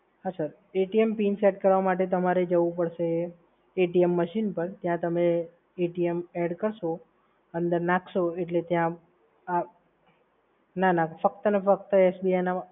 હા સર, PIN set કરવા માટે તમારે જવું પડશે machine પર ત્યાં તમારે અંદર નાખશો એટલે ત્યાં આહ, ના ના ફક્ત અને ફક્ત SBI ના જ